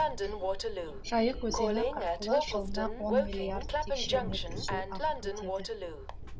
жайық өзені арқылы жылына он миллиард текше метр су ағып өтеді